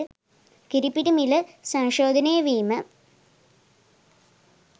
කිරිපිටි මිල සංශෝධනය වීම